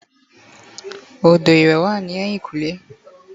odo iwé wa ni eyinkunle